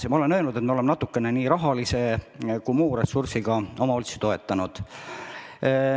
Nagu ma olen öelnud, me oleme nii rahalise kui ka muu ressursiga omavalitsusi natukene toetanud.